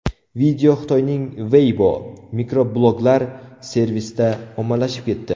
Video Xitoyning Weibo mikrobloglar servisida ommalashib ketdi.